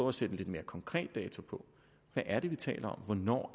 at sætte en lidt mere konkret dato på hvad er det vi taler om hvornår